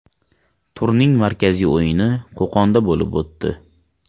Turning markaziy o‘yini Qo‘qonda bo‘lib o‘tdi.